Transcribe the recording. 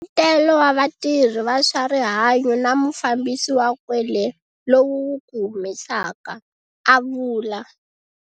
Nseketelo wa vatirhi va swa rihanyo na mufambisi wa kwele - lowu wu ku humesaka, a vula.